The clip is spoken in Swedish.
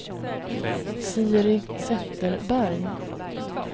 Siri Zetterberg